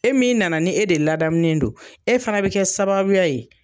E min nana ni e de ladamunen don e fana bɛ kɛ sababuya ye.